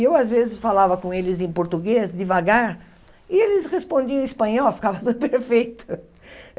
Eu, às vezes, falava com eles em português, devagar, e eles respondiam em espanhol, ficava tudo perfeito.